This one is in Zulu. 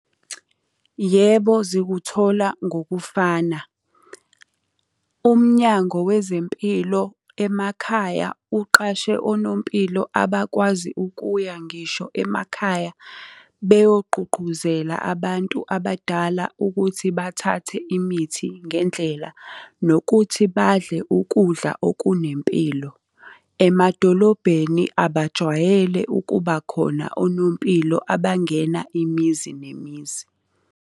Yebo, zikuthola ngokufana. UMnyango wezempilo emakhaya uqashe onompilo abakwazi ukuya ngisho emakhaya beyogqugquzela abantu abadala ukuthi bathathe imithi ngendlela, nokuthi badle ukudla okunempilo. Emadolobheni abajwayele ukuba khona onompilo abangena imizi nemizi.